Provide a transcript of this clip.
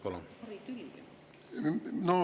Palun!